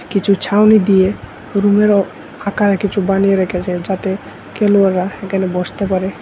কিছু ছাউনি দিয়ে রুমের অ আকারে কিছু বানিয়ে রেখেছে যাতে খেলোয়াড়রা এখানে বসতে পারে।